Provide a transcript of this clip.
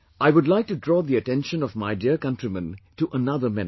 I would like to draw the attention of my dear countrymen to another menace